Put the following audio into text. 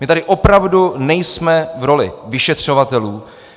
My tady opravdu nejsme v roli vyšetřovatelů.